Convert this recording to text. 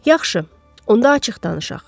Yaxşı, onda açıq danışaq.